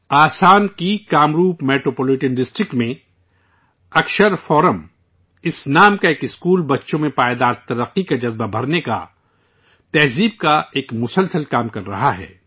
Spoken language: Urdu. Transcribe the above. آسام کے کامروپ میٹروپولیٹن ڈسٹرکٹ میں اکشر فورم اس نام کا ایک اسکول بچوں میں پائیدار ترقی کا جذبہ بھرنے کا، اخلاقیات کا، ایک مسلسل کام کر رہا ہے